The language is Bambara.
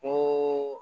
Ko